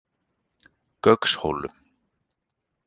Gaukshólum